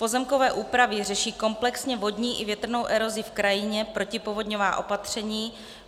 Pozemkové úpravy řeší komplexně vodní i větrnou erozi v krajině, protipovodňová opatření.